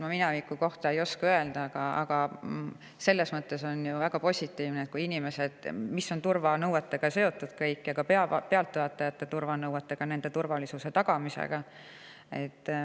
Ma mineviku kohta ei oska öelda, aga on ju väga positiivne, et kõigega, mis on seotud ja ka pealtvaatajate turvalisuse tagamisega.